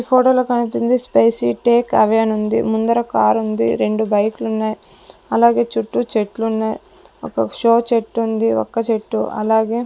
ఈ ఫోటో లో కనిపింది స్పైసి టేక్ అవే అని ఉంది ముందర కార్ ఉంది రెండు బైకు లు ఉన్నై అలాగే చుట్టూ చెట్లు ఉన్నై ఒక షో చెట్టు ఉంది ఒక చెట్టు అలాగే --